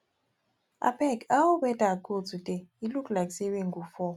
abeg how weather go today e look like say rain go fall